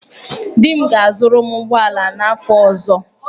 Di m ga-azụrụ m ụgbọala n'afọ ọzọ.